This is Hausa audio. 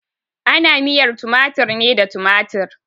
Ana miyar tumatir ne da tumatir.